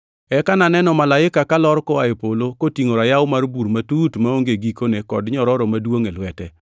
Eka naneno malaika kalor koa e polo, kotingʼo rayaw mar bur matut maonge gikone kod nyororo maduongʼ e lwete.